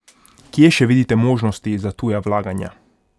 Kje še vidite možnosti za tuja vlaganja?